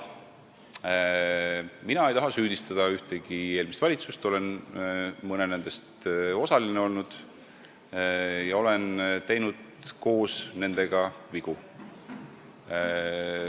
Mina ei taha süüdistada ühtegi eelmist valitsust, olen mõnes nendest olnud osaline ja teinud koos nendega vigu.